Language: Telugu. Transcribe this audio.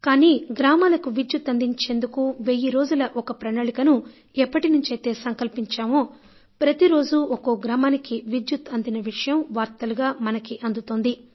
కానీ గ్రామాలకు విద్యుత్ అందించేందుకు వెయ్యి రోజుల ఒక ప్రణాళికను ఎప్పటినుంచైతే సంకల్పించామో ప్రతి రోజూ ఒక్కో గ్రామానికి విద్యుత్ అందిన విషయం వార్తలుగా మనకు అందుతుంది